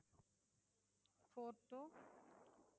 Four Two